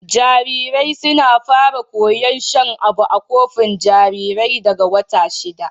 Jarirai suna fara koyar shan abu a kofi jarirai daga wata shida.